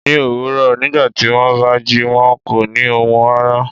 Ní òwúrọ̀ nígbàtí wón bá jí, wón á kọ ni ohùn rara